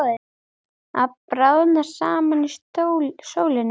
Að bráðna saman í sólinni